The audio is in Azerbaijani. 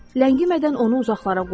Ləngimədən onu uzaqlara qovun.